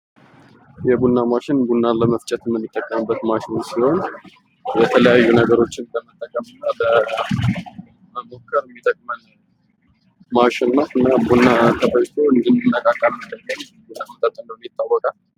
የቡና ማሽን ቡና ለመፍጨት የምንጠቀምበት ማሽን ሲሆን የተለያዩ ነገሮችን በመጠቀም እና በመሞከር የሚጠቅመን ማሽን ነው። እና ቡና ተፈጭቶ እንድንነቃቃ ንጥረ ነገር እንዳለው ይታወቃል።